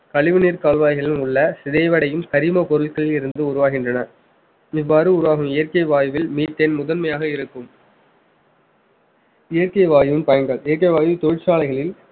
கழிவு நீர் கால்வாய்களிலும் உள்ள சிதைவடையும் கரிம பொருள்களில் இருந்து உருவாகின்றன இவ்வாறு உருவாகும் இயற்கை வாயுவில் methane முதன்மையாக இருக்கும் இயற்கை வாயுவின் பயன்கள் இயற்கை வாயில் தொழிற்சாலைகளில்